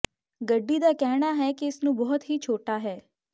ਗੱਡੀ ਦਾ ਕਹਿਣਾ ਹੈ ਕਿ ਇਸ ਨੂੰ ਬਹੁਤ ਹੀ ਛੋਟਾ ਹੈ